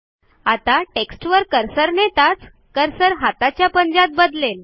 आता टेक्स्टवर कर्सर न्हेताच कर्सर हाताच्या पंजात बदलेल